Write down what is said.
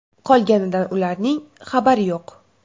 Qolganidan ularning xabari yo‘q.